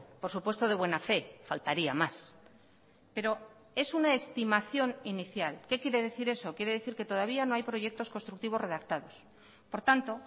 por supuesto de buena fe faltaría más pero es una estimación inicial qué quiere decir eso quiere decir que todavía no hay proyectos constructivos redactados por tanto